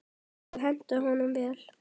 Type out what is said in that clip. Það hentaði honum vel.